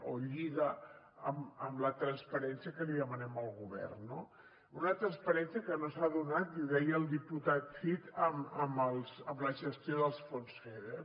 o lliga amb la transparència que li demanem al govern no una transparència que no s’ha donat i ho deia el diputat cid amb la gestió dels fons feder